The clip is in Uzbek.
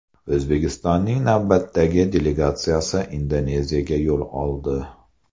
O‘zbekistonning navbatdagi delegatsiyasi Indoneziyaga yo‘l oldi .